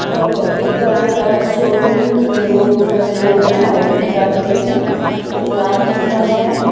Showroom के लोग खड़े हुए हैं आईडी कार्ड पे हैं वो कार्ड दिखा रहे हैं।